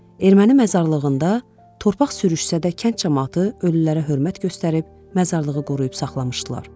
Erməni məzarlığında torpaq sürüşsə də kənd camaatı ölülərə hörmət göstərib məzarlığı qoruyub saxlamışdılar.